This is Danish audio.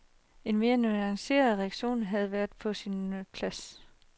En mere nuanceret reaktion havde været på sin plads.